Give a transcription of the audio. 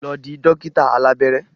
Lọ di dókítà alábẹ́rẹ́!